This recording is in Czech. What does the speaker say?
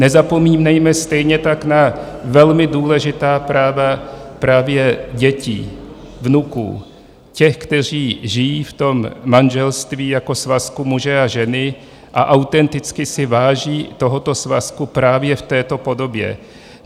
Nezapomínejme stejně tak na velmi důležitá práva právě dětí, vnuků, těch, kteří žijí v tom manželství jako svazku muže a ženy a autenticky si váží tohoto svazku právě v této podobě.